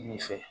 Nin fɛ